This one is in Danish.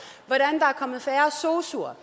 kommet færre sosuer